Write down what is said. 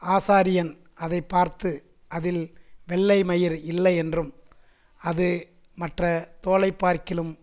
ஆசாரியன் அதைப்பார்த்து அதில் வெள்ளைமயிர் இல்லை என்றும் அது மற்ற தோலைப்பார்க்கிலும்